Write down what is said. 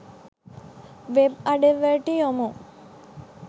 web අඩවිවලට යොමු